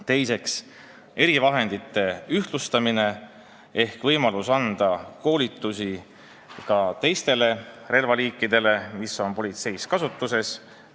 Teiseks, erivahendite kasutamise ühtlustamine ehk ka teiste relvaliikide kasutamise koolituste võimalus, kui need relvad on politseis kasutuses.